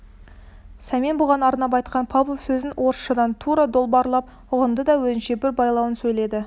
сәмен бұған арнап айтқан павлов сөзін орысшадан тура долбарлап ұғынды да өзінше бір байлауын сөйледі